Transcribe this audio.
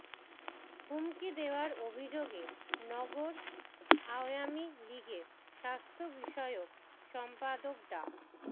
হুমকি দেওয়ার অভিযোগে নগর আওয়ামী লীগের স্বাস্থ্য বিষয়ক সম্পাদক ডা